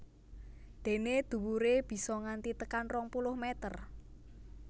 Dené dhuwuré bisa nganti tekan rong puluh mèter